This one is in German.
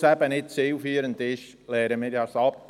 Weil es nicht zielführend ist, lehnen wir das ab.